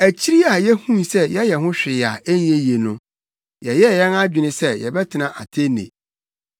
Akyiri yi a yehuu sɛ yɛyɛ ho hwee a ɛnyɛ yie no, yɛyɛɛ yɛn adwene sɛ yɛbɛtena Atene.